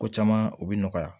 Ko caman o bɛ nɔgɔya